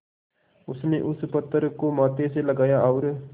उसने उस पत्थर को माथे से लगाया और